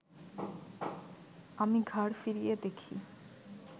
আমি ঘাড় ফিরিয়ে দেখি